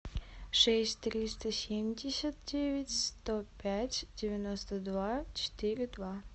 шесть триста семьдесят девять сто пять девяносто два четыре два